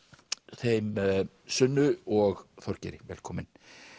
þeim Sunnu og Þorgeiri velkomin